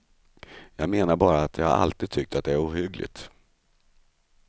Jag menar bara att jag alltid tyckt att det är ohyggligt.